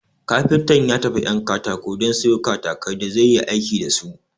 Kafinta ya tafi 'yan katako don sayo katakai da zai yi aiki dasu